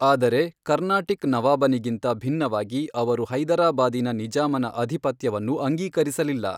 ಆದರೆ ಕರ್ನಾಟಿಕ್ ನವಾಬನಿಗಿಂತ ಭಿನ್ನವಾಗಿ, ಅವರು ಹೈದರಾಬಾದಿನ ನಿಜಾಮನ ಅಧಿಪತ್ಯವನ್ನು ಅಂಗೀಕರಿಸಲಿಲ್ಲ.